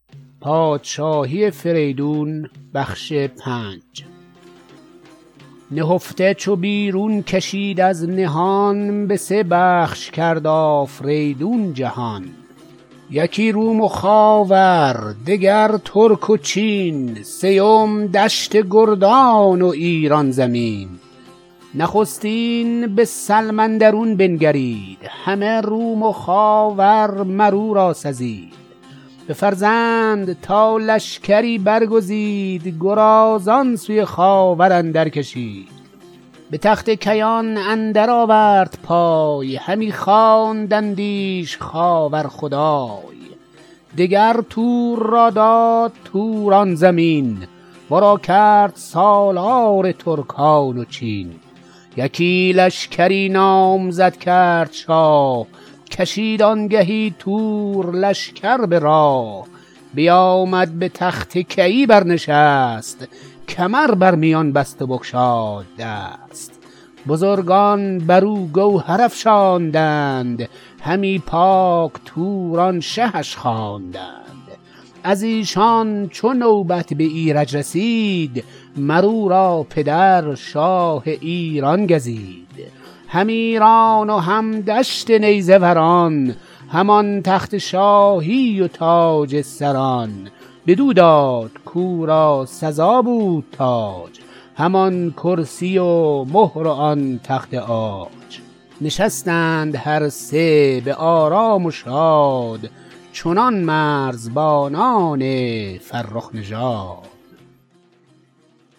نهفته چو بیرون کشید از نهان به سه بخش کرد آفریدون جهان یکی روم و خاور دگر ترک و چین سیم دشت گردان و ایران زمین نخستین به سلم اندرون بنگرید همه روم و خاور مراو را سزید بفرمود تا لشکری برگزید گرازان سوی خاور اندرکشید به تخت کیان اندر آورد پای همی خواندندیش خاور خدای دگر تور را داد توران زمین ورا کرد سالار ترکان و چین یکی لشکری نامزد کرد شاه کشید آنگهی تور لشکر به راه بیامد به تخت کیی برنشست کمر بر میان بست و بگشاد دست بزرگان برو گوهر افشاندند همی پاک توران شهش خواندند از ایشان چو نوبت به ایرج رسید مر او را پدر شاه ایران گزید هم ایران و هم دشت نیزه وران هم آن تخت شاهی و تاج سران بدو داد کورا سزا بود تاج همان کرسی و مهر و آن تخت عاج نشستند هر سه به آرام و شاد چنان مرزبانان فرخ نژاد